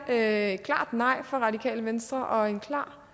er et klart nej fra radikale venstre og en klar